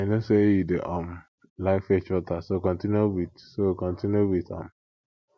i no say you dey um like fetch water so continue with so continue with am